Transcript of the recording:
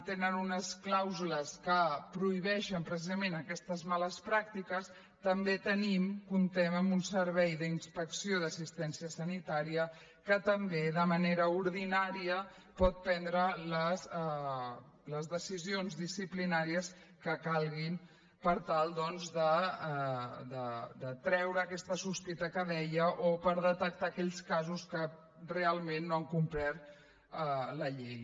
tenen unes clàusules que prohibeixen precisament aquestes males pràctiques també tenim comptem amb un servei d’inspecció d’assistència sanitària que també de manera ordinària pot prendre les decisions disciplinàries que calguin per tal doncs de treure aquesta sospita que deia o per detectar aquells casos que realment no han complert la llei